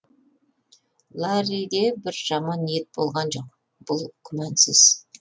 ларриде бір жаман ниет болған жоқ бұл күмәнсіз